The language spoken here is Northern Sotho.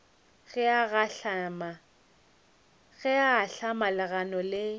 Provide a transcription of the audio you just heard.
ge a ahlama legano le